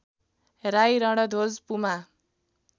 Rai Randhwaj Puma